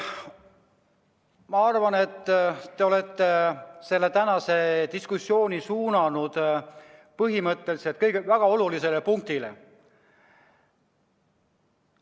Ma arvan, et te olete tänase diskussiooni suunanud põhimõtteliselt väga olulisele punktile.